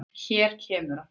Hér kemur hann.